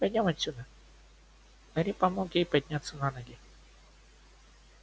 пойдём отсюда гарри помог ей подняться на ноги